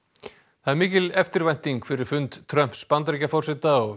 það er mikil eftirvænting fyrir fund Trumps Bandaríkjaforseta og